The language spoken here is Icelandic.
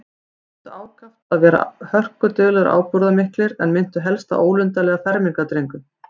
Þeir reyndu ákaft að vera ábúðarmiklir og hörkulegir, en minntu helst á ólundarlega fermingardrengi.